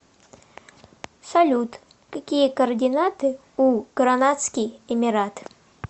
салют какие координаты у гранадский эмират